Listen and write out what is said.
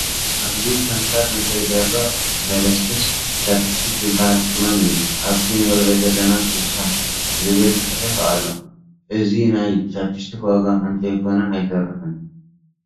ኣብዚ ከንፈር ንከይደርቕ ዘልስልስ ቻፕስቲክ ዝበሃል ቅመም እዩ፡፡ ኣብቲ ንሪኦ ዘለና 60 ዝብል ፅሑፍ ኣሎ፡፡ እዚ ናይ ቻፕስቲክ ዋጋ እንተይኮነ ኣይተርፍን፡፡